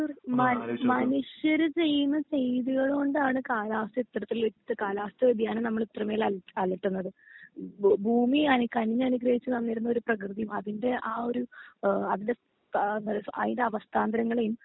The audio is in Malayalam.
തീർ മൻ മനുഷ്യർ ചെയുന്ന ചെയ്തുകൾ കൊണ്ടാണ് കാലാവസ്ഥ ഇത്തരത്തിൽ എത്ത് കാലാവസ്ഥ വേദിയാനം നമ്മൾ ഇത്രേമേൽ അല അലട്ടുന്നത് ഭ ഭൂമി അന് കന്നി അനുഗ്രഹിച്ച് തന്നിരുന്നൊരു പ്രെകൃതി അതിന്റെ ആ ഒരു ഏഹ് അതിന്റെ ഏഹ് ന്ന്വെച്ച അയിന്റെ അവസ്ഥാന്തരങ്ങളെയും